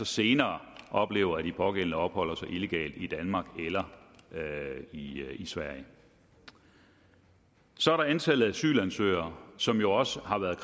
senere oplever at de pågældende opholder sig illegalt i danmark eller i sverige så er der antallet af asylansøgere som jo også har været